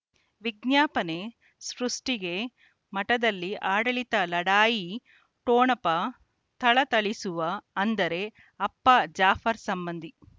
ವಿಜ್ಞಾಪನೆ ಸೃಷ್ಟಿಗೆ ಮಠದಲ್ಲಿ ಆಡಳಿತ ಲಢಾಯಿ ಠೊಣಪ ಥಳಥಳಿಸುವ ಅಂದರೆ ಅಪ್ಪ ಜಾಫರ್ ಸಂಬಂಧಿ